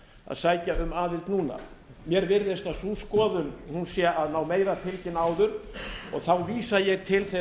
að sækja um aðild núna mér virðist að sú skoðun sé að ná meira fylgi en áður og þá vísa ég til þeirrar